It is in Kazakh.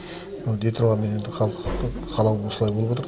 дей тұрғанмен енді халықтың қалауы осылай болып отыр